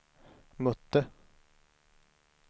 mötte